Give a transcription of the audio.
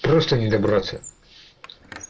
просто не добраться